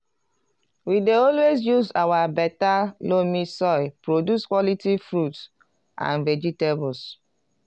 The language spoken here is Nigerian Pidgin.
we dey always use our beta loamy soil produce quality fruits and vegetables.